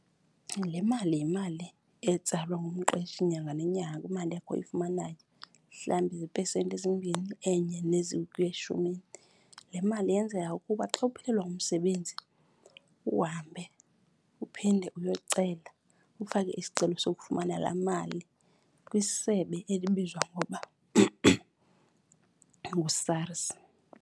Le mali yimali etsalwa ngumqeshi nyanga nenyanga kwimali yakho oyifumanayo, mhlambi ziipesenti ezimbini, enye ukuya eshumini. Le mali yenzela ukuba xa uphelelwa ngumsebenzi uhambe uphinde uyocela, ufake isicelo sokufumana laa mali kwisebe elibizwa ngokuba nguSARS.